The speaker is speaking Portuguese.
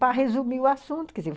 para resumir o assunto.